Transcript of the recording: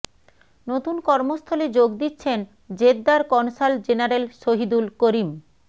নতুন কর্মস্থলে যোগ দিচ্ছেন জেদ্দার কনসাল জেনারেল শহীদুল করিম